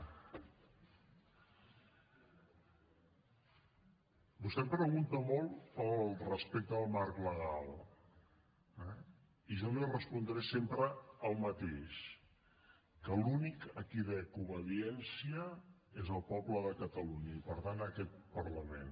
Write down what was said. vostè pregunta molt pel respecte al marc legal eh i jo li respondré sempre el mateix que a l’únic a qui dec obediència és al poble de catalunya i per tant a aquest parlament